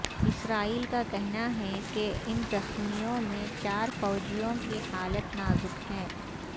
اسرائیل کا کہنا ہے کہ ان زخمیوں میں چار فوجیوں کی حالت نازک ہے